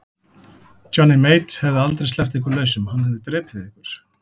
Johnny Mate hefði aldrei sleppt ykkur lausum, hann hefði drepið ykkur.